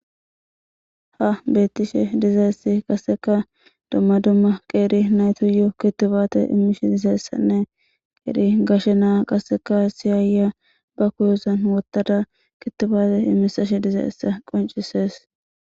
Ha beettishe dizayssi qaseka dumma dumma qeeri naytuyo kittubaate immish dizayssanne qeeri gashe naa qaseka siyaaya ba kuyozan wottada kittubaate immisashe dizaessa qoncisees.